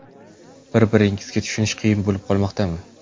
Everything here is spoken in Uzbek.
Bir – biringizni tushunish qiyin bo‘lib qolmoqdami?